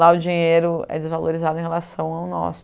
Lá o dinheiro é desvalorizado em relação ao nosso.